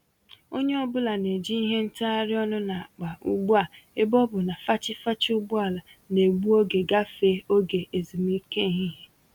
Onye ọ bụla n'eji ìhè ntagharị ọnụ n'akpa ugbu a ebe ọ bụ na fachi-fachi ụgbọala N'egbu oge gafee oge ezumike ehihie